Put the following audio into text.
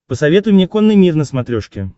посоветуй мне конный мир на смотрешке